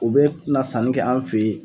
O bɛ na sanni kɛ an fɛ yen.